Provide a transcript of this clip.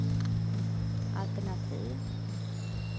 altenativ